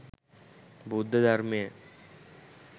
බුද්ධ ධර්මය